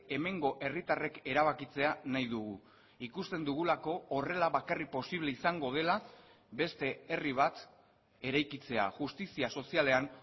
hemengo herritarrek erabakitzea nahi dugu ikusten dugulako horrela bakarrik posible izango dela beste herri bat eraikitzea justizia sozialean